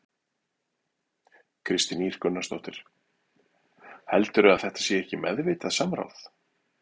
Kristín Ýr Gunnarsdóttir: Heldurðu að þetta sé ekki meðvitað samráð?